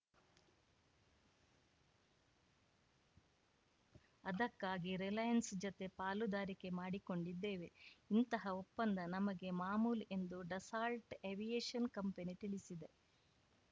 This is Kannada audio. ಅದಕ್ಕಾಗಿ ರಿಲಯನ್ಸ್‌ ಜತೆ ಪಾಲುದಾರಿಕೆ ಮಾಡಿಕೊಂಡಿದ್ದೇವೆ ಇಂತಹ ಒಪ್ಪಂದ ನಮಗೆ ಮಾಮೂಲು ಎಂದು ಡಸಾಲ್ಟ್‌ ಏವಿಯೇಷನ್‌ ಕಂಪನಿ ತಿಳಿಸಿದೆ